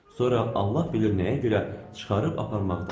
Sonra Allah bilir nəyə görə çıxarıb aparmağı tapşırdı.